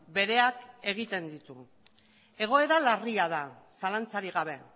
bereak egiten ditu egoera larria da zalantzarik gabe